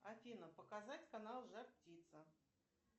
афина показать канал жар птица